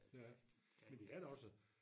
Ja men det er da også